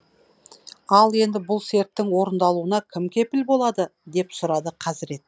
ал енді бұл серттің орындалуына кім кепіл болады деп сұрады хазірет